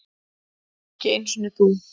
Ekki einu sinni þú.